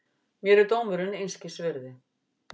Mér er dómurinn einskis virði.